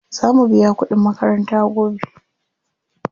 Za mu biya kuɗin makaranta gobe.